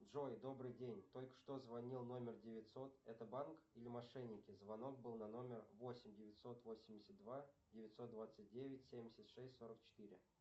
джой добрый день только что звонил номер девятьсот это банк или мошенники звонок был на номер восемь девятьсот восемьдесят два девятьсот двадцать девять семьдесят шесть сорок четыре